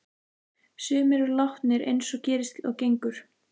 Sumir eru látnir eins og gerist og gengur.